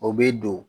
O bɛ don